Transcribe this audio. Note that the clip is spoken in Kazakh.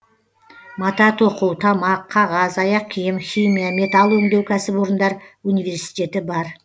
мата тоқу тамақ қағаз аяқ киім химия металл өңдеу кәсіпорындар университеті бар